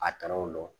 A tɛrɛw bɔ